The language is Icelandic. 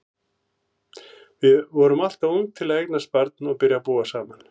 Við erum alltof ung til að eignast barn og byrja að búa saman.